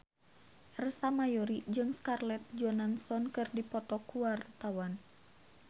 Ersa Mayori jeung Scarlett Johansson keur dipoto ku wartawan